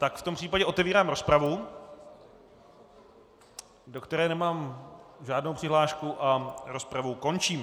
Tak v tom případě otevírám rozpravu, do které nemám žádnou přihlášku, a rozpravu končím.